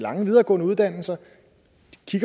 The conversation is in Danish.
lange videregående uddannelser